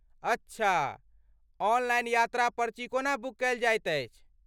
अच्छा! ऑनलाइन यात्रा पर्ची कोना बुक कयल जाइत अछि?